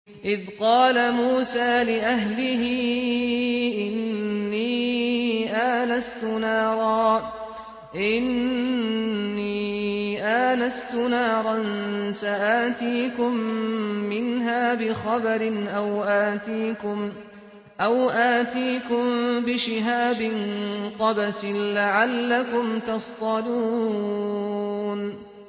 إِذْ قَالَ مُوسَىٰ لِأَهْلِهِ إِنِّي آنَسْتُ نَارًا سَآتِيكُم مِّنْهَا بِخَبَرٍ أَوْ آتِيكُم بِشِهَابٍ قَبَسٍ لَّعَلَّكُمْ تَصْطَلُونَ